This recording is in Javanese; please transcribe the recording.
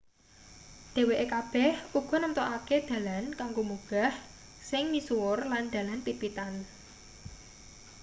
dheweke kabeh uga namtokake dalan kanggo munggah sing misuwur lan dalan pit-pitan